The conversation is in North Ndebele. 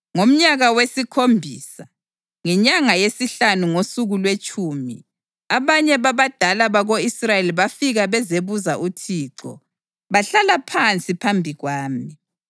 Ngomnyaka wesikhombisa, ngenyanga yesihlanu ngosuku lwetshumi, abanye babadala bako-Israyeli bafika bezebuza uThixo, bahlala phansi phambi kwami.